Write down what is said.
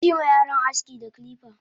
Yima yaron aski da kirika!